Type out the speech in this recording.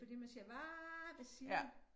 Fordi man siger hva hvad siger